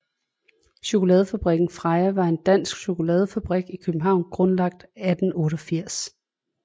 Chokoladefabrikken Freja var en dansk chokoladefabrik i København grundlagt 1888